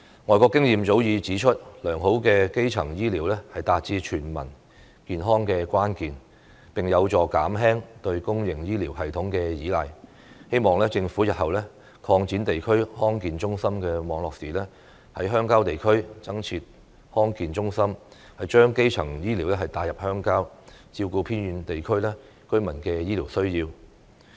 外國經驗早已指出，良好的基層醫療是達致全民健康的關鍵，並有助減輕對公營醫療系統的依賴，希望政府日後擴展地區康健中心網絡時，在鄉郊地區增設康健中心，將基層醫療帶入鄉郊，照顧偏遠地區居民的醫療需要。